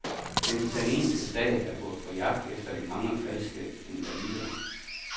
Den italienske stat er gået på jagt efter de mange falske invalider.